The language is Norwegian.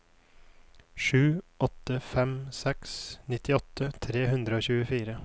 sju åtte fem seks nittiåtte tre hundre og tjuefire